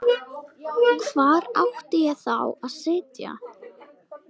Hvar átti ég þá að sitja?